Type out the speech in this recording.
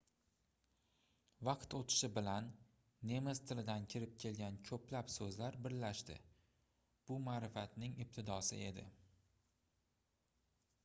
vaqt oʻtishi bilan nemis tilidan kirib kelgan koʻplab soʻzlar birlashdi bu maʼrifatning ibtidosi edi